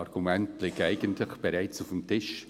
die Argumente liegen bereits auf dem Tisch.